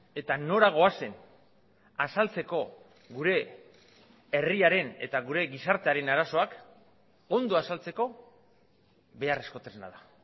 eta nora goazen azaltzeko gure herriaren eta gure gizartearen arazoak ondo azaltzeko beharrezko tresna da